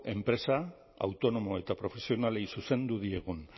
empresa autonomo eta profesionalei zuzendu diegun